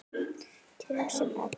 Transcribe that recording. Þau tög sem öll.